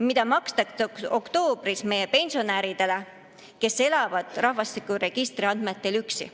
Seda makstakse oktoobris meie pensionäridele, kes elavad rahvastikuregistri andmetel üksi.